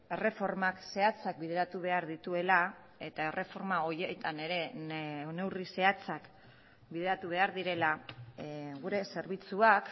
erreformak zehatzak bideratu behar dituela eta erreforma horietan ere neurri zehatzak bideratu behar direla gure zerbitzuak